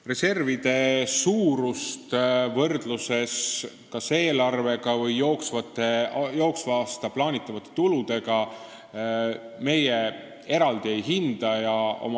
Reservide suurust kas eelarvega või jooksva aasta plaanitavate tuludega võrreldes meie eraldi ei hinda.